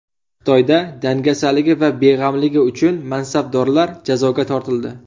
Xitoyda dangasaligi va beg‘amligi uchun mansabdorlar jazoga tortildi.